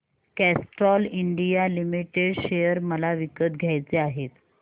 Castrol India limited share मला विकत घ्यायचे आहेत